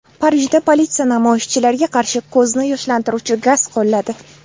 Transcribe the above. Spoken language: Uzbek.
Parijda politsiya namoyishchilarga qarshi ko‘zni yoshlantiruvchi gaz qo‘lladi.